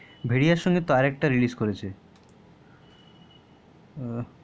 ভেরিয়ার সঙ্গেতো আর একটা রিলেস করেছে ও